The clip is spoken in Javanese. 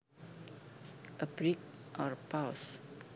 A break or pause